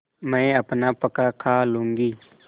मैं अपना पकाखा लूँगी